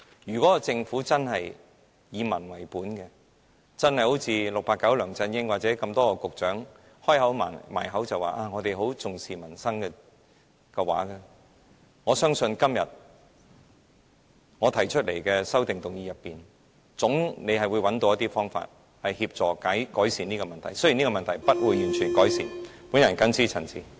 如果政府真的以民為本，一如 "689" 梁振英或多位局長般常常把重視民生掛在嘴邊，我相信即使這種情況未必完全得以改善，但在我今天提出的修正案中，政府總可找到一些方法協助改善這種情況。